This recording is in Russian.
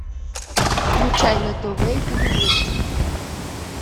включай на тв ювелирочка